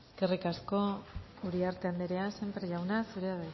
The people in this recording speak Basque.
eskerrik asko uriarte anderea sémper jauna zurea